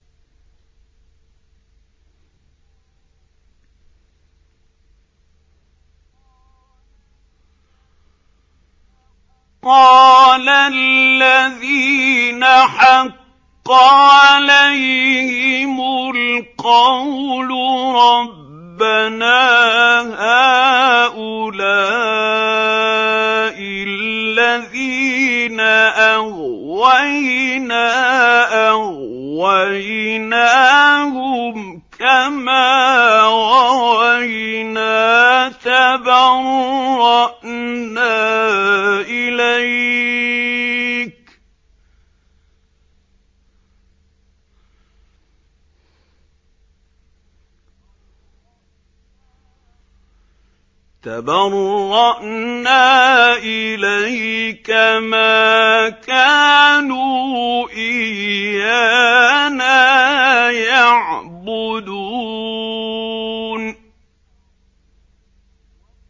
قَالَ الَّذِينَ حَقَّ عَلَيْهِمُ الْقَوْلُ رَبَّنَا هَٰؤُلَاءِ الَّذِينَ أَغْوَيْنَا أَغْوَيْنَاهُمْ كَمَا غَوَيْنَا ۖ تَبَرَّأْنَا إِلَيْكَ ۖ مَا كَانُوا إِيَّانَا يَعْبُدُونَ